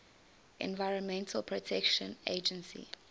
environmental protection agency